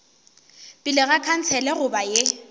pele ga khansele goba ye